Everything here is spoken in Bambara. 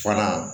Fana